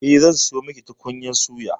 Eh, zan sayo miki tukunyar suya.